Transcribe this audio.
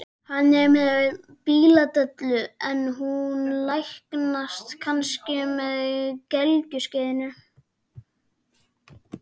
Hann er með bíladellu en hún læknast kannski með gelgjuskeiðinu.